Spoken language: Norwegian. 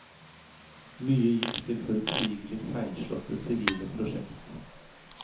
Mye gikk til forutsigelig feilslåtte sivile prosjekt.